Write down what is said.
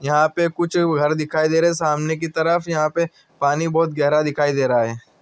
यह पे कुक घार दिखिया दे रहे है सामने की तरफ यह पे पनि बोहोत घहर दिखाई दे रहा है ।